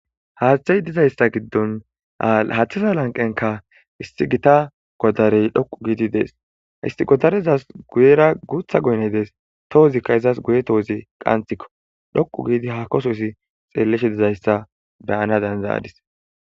Haaththey dizayssa giddon haathisa lanqenka isti gita godarey dhoqu giidi dees isti godarezas guyera guutha goyney dees tohozikka izas guye toozi qantikko dhoqu giidi haakososi xeeleshe dizayssa beyana danzayadis.